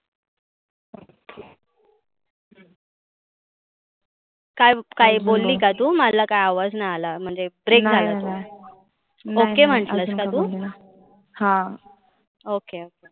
काय काय बोली का तु? मला काय आवाज नाय आला. म्हणजे break झाला तो. Okay म्हटलस का तु? हा okay